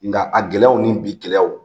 Nga a gɛlɛyaw ni bi gɛlɛyaw,